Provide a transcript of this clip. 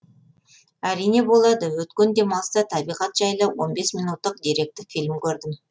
әрине болады өткен демалыста табиғат жайлы он бес минуттық деректі фильм көрдім